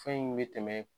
Fɛn in bɛ tɛmɛ